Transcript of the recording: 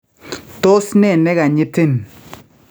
Tos nee nekanyitin?